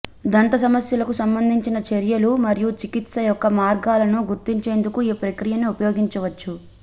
దంత సమస్యలకు సంబంధించిన చర్యలు మరియు చికిత్స యొక్క మార్గాలను గుర్తించేందుకు ఈ ప్రక్రియను ఉపయోగించవచ్చు